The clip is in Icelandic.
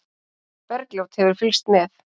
Bergljót hefur fylgst með.